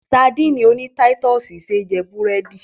Sadíìnì oní táítọ̀sì ṣé jẹ búrẹ́dì.